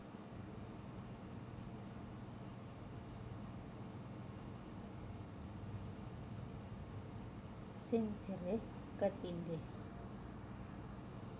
Sing jerih ketindhih